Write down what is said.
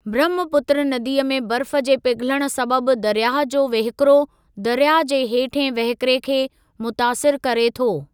ब्रहमपुत्र नदीअ में बर्फ़ जे पिघलण सबबु दरयाह जो वहिकिरो दरयाह जे हेठिहें वहकिरे खे मुतासिरु करे थो।